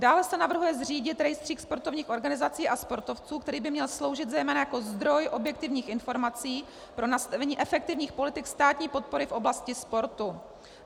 Dále se navrhuje zřídit rejstřík sportovních organizací a sportovců, který by měl sloužit zejména jako zdroj objektivních informací pro nastavení efektivních politik státní podpory v oblasti sportu.